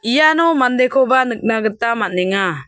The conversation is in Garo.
iano mandekoba nikna gita man·enga.